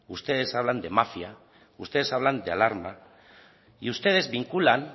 ustedes hablan de mafia ustedes hablan de alarma y ustedes vinculan